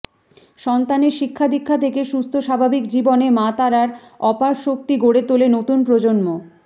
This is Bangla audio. সন্তানের শিক্ষাদীক্ষা থেকে সুস্থ স্বাভাবিক জীবনে মা তারার অপার শক্তি গড়ে তোলে নতুন প্রজন্ম